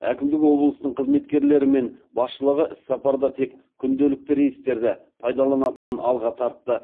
әкімдік облыстың қызметкерлері мен басшылығы іссапарда тек күнделікті рейстерді пайдаланатынын алға тартты